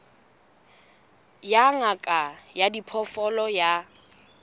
ya ngaka ya diphoofolo ya